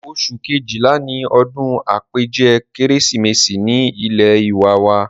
oṣù Kejìlá ni odún àpèjẹ kérésìmesì ní ilé ìwé wa